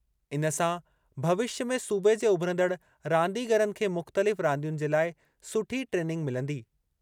इन सां भविष्य में सूबे जे उभिरंदड़ रांदीगरनि खे मुख़्तलिफ़ रांदियुनि जे लाइ सुठी ट्रेनिंग मिलंदी।